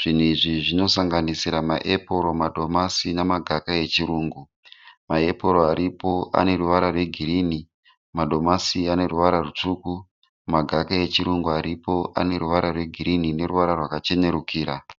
Zvinhu izvi zvinosanganisira maepuru, madomasi nemagaka echirungu. Maepuru aripo ane ruvara rwegirini, madomasi ane ruvara rutsvuku, magaka echirungu aripo ane ruvara rwegirini neruvara rwakachenerukira.